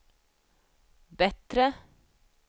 bättre